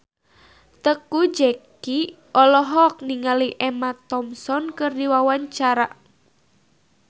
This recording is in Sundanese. Teuku Zacky olohok ningali Emma Thompson keur diwawancara